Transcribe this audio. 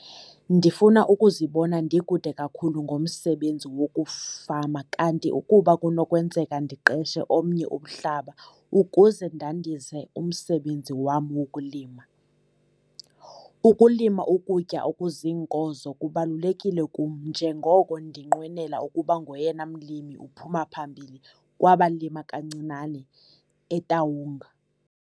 Ndifuna ukuzibona ndikude kakhulu ngomsebenzi wokufama kanti ukuba kunokwenzeka ndiqeshe omnye umhlaba ukuze ndandise umsebenzi wam wokulima. Ukulima ukutya okuziinkozo kubalulekile kum njengoko ndinqwenela ukuba ngoyena mlimi uphuma phambili kwabalima kancinane eTaung.